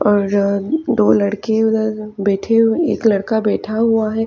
और दो लड़के उधर बैठे हुए एक लड़का बैठा हुआ है।